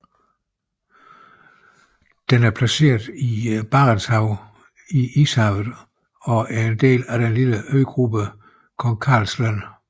Den er placeret i Barentshavet i Ishavet og er en del af den lille øgruppen Kong Karls Land